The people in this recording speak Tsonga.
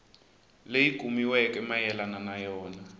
leyi kumiweke mayelana na yona